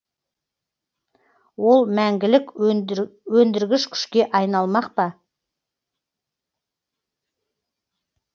ол мәңгілік өндіргіш күшке айналмақ па